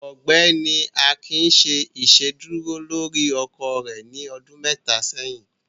Ọgbẹni Akín ṣè iṣedúrò lórí ọkọ rẹ ní ọdún mẹta sẹ̀yìn.